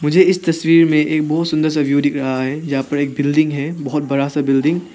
मुझे इस तस्वीर में एक बहुत सुंदर सा व्यू दिख रहा है जहां पर एक बिल्डिंग है बहुत बड़ा सा बिल्डिंग ।